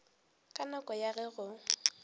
ka nako ya ge go